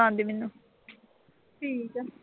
ਠੀਕ ਆ।